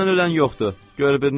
Dərdindən ölən yoxdur.